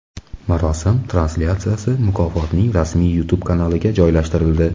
Marosim translyatsiyasi mukofotning rasmiy YouTube kanaliga joylashtirildi .